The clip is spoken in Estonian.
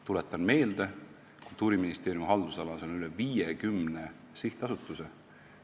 Tuletan meelde, et Kultuuriministeeriumi haldusalas on üle 50 sihtasutuse.